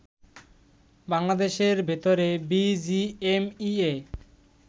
বাংলাদেশের ভেতরে বিজিএমইএ